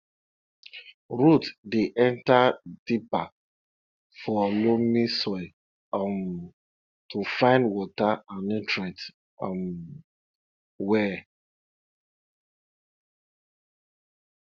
root dey enter deeper for loamy soil um to find water and nutrients um well